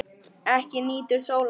Ekki nýtur sólar.